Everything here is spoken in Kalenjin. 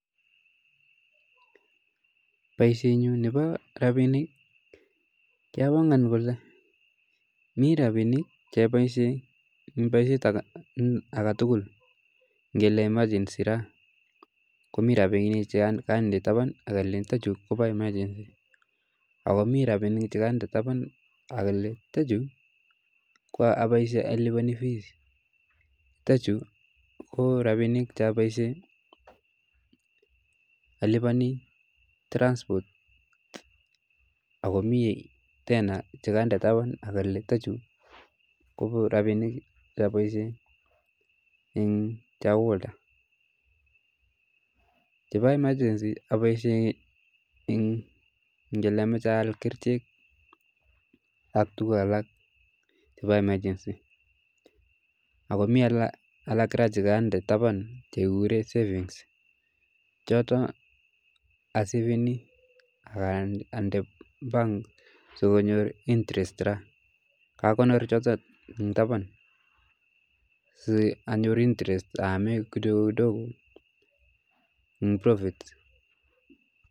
Boishenyun nebo rabinik kiabangan Kole Mii rabinik choboishen en boishet aketukul ng'ele emergency raa komii rabinik chekonde taban olee chuto chuu kobo emergency ak komii rabinik chekonde taban olee chuto chuu ko aboishen aliboni fees, chuto chuu ko rabinik cheoboishen oliboni transport ak komii tena chekonde taban okole chuto chuu kobo rabinikab boishet eng' chakula ak chebo emergency aboishen eng' kelee amoche aal kerichek ak tukuk alak chebo emergency ak komii kora chekonde taban chekikuren savings choto aseveni ak andee bank sikonyor interest raa, kakonor choton sii anyor interest aamen kitoko kitoko en profit.